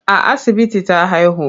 A asibiti ta haihu.